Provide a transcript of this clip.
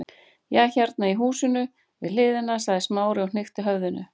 Já, hérna í húsinu við hliðina- sagði Smári og hnykkti höfðinu.